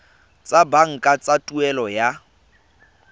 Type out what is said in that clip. tsa banka tsa tuelo ya